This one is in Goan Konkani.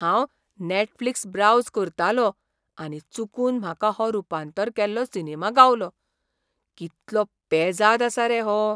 हांव नॅटफ्लिक्स ब्रावझ करतालों आनी चुकून म्हाका हो रुपांतर केल्लो सिनेमा गावलो. कितलो पेझाद आसा रे हो!